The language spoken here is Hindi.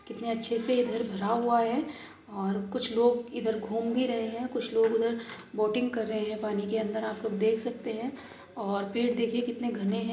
कितने अच्छे से ये भरा हुआ है। और कुछ लोग इधर घूम भी रहे है। कुछ लोग उधर बोटिंग कर रहे है। पानी के अंदर आप लोग देख सकते है और पेड़ देखिए कितने घने हैं।